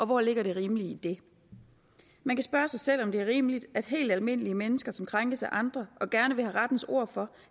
hvor ligger det rimelige i det man kan spørge sig selv om det er rimeligt at helt almindelige mennesker som krænkes af andre og gerne vil have rettens ord for